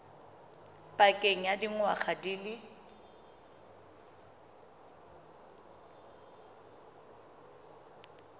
pakeng ya dingwaga di le